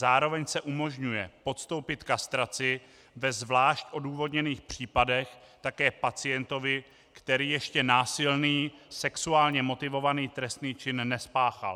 Zároveň se umožňuje podstoupit kastraci ve zvlášť odůvodněných případech také pacientovi, který ještě násilný sexuálně motivovaný trestný čin nespáchal.